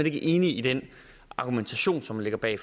ikke enig i den argumentation som ligger bag